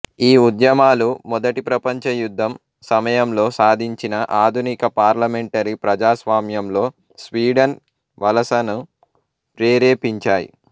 ఈ ఉద్యమాలు మొదటి ప్రపంచ యుద్ధం సమయంలో సాధించిన ఆధునిక పార్లమెంటరీ ప్రజాస్వామ్యంలో స్వీడన్ వలసను ప్రేరేపించాయి